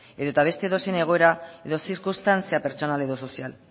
edo eta beste edozein egoera edo zirkunstantzia pertsonal edo sozial